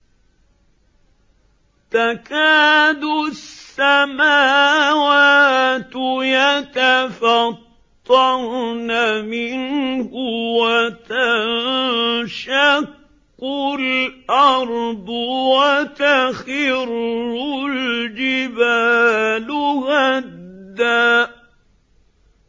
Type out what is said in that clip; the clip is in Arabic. تَكَادُ السَّمَاوَاتُ يَتَفَطَّرْنَ مِنْهُ وَتَنشَقُّ الْأَرْضُ وَتَخِرُّ الْجِبَالُ هَدًّا